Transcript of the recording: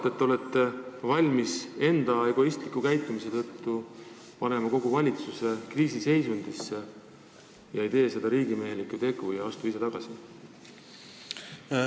Miks te olete valmis egoistliku käitumisega panema kogu valitsuse kriisiseisundisse ega tee seda riigimehelikku sammu, astudes ise tagasi?